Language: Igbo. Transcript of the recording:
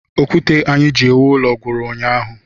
Okwute anyị ji ewu ụlọ gwụrụ ụnyaahụ